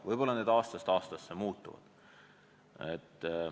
Võib-olla need aastast aastasse muutuvad.